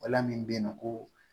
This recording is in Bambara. Wala min bɛ yen nɔ ko